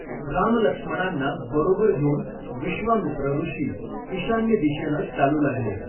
रामलक्ष्मणांना बरोबर घेऊन विश्वामित्र ऋषि ईशान्य दिशेनं चालू लागले.